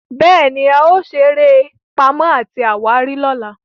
béèni, ao sere eré Pàmò àti àwárí lọla.